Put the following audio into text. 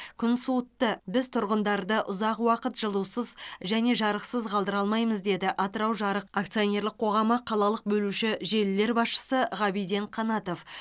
күн суытты біз тұрғындарды ұзақ уақыт жылусыз және жарықсыз қалдыра алмаймыз деді атырау жарық акционерлік қоғамы қалалық бөлуші желілер басшысы ғабиден қанатов